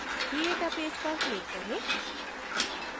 create a page पर click करें